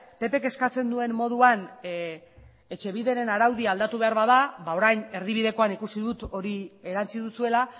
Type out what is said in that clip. ppk eskatzen duen moduan etxebideren araudia aldatu behar bada orain erdibidekoan ikusi dut hori erantsi duzuela